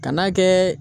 Kan'a kɛ